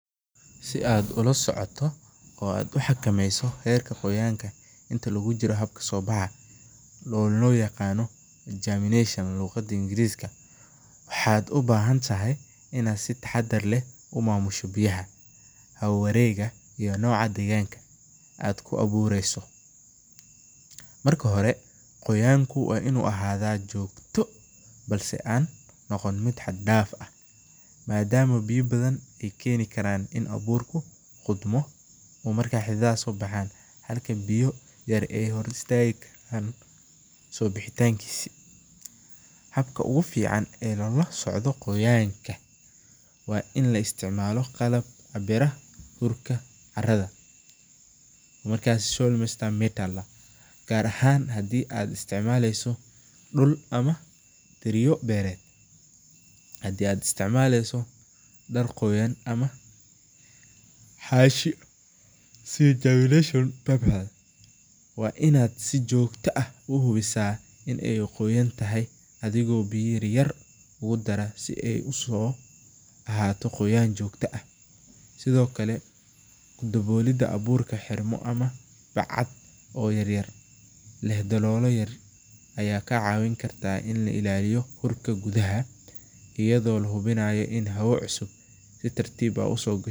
Si aad ula socoto oo aad uqimeyso habka qoyaanka oo loo yaqaano jamineeshon, waxaad ubahan tahay inaad si taxadar leh umamusho biyaha, aad ku abuureso, marka hore qoyanka waa inuu noqdo mid joogta ah, in abuurku qodmo halka biya rmyar aya hor istaagi karaan, gaar ahaan hadii aad isticmaleso dul, ana dar qoyan, waa inaad si joogta ah uhibumiaa, bacad yaryar ayaa kaa cawin karta ina la ilaaliyo haraka gudaha.